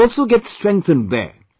' will also get strengthened there